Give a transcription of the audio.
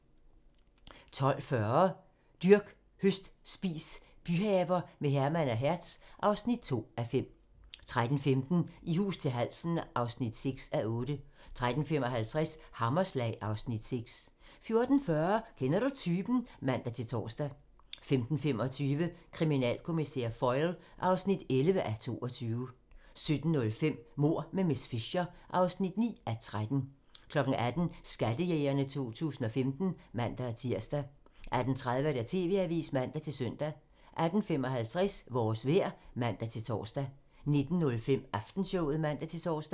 12:40: Dyrk, høst, spis - byhaver med Herman og Hertz (2:5) 13:15: I hus til halsen (6:8) 13:55: Hammerslag (Afs. 6) 14:40: Kender du typen? (man-tor) 15:25: Kriminalkommissær Foyle (11:22) 17:05: Mord med miss Fisher (9:13) 18:00: Skattejægerne 2015 (man-tir) 18:30: TV-avisen (man-søn) 18:55: Vores vejr (man-tor) 19:05: Aftenshowet (man-tor)